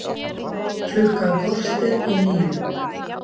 Klukkan korter í níu